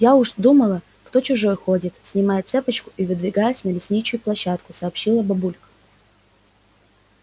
я уж думала кто чужой ходит снимая цепочку и выдвигаясь на лестничную площадку сообщила бабулька